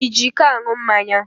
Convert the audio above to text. Ị ji iko aṅụ mmanya?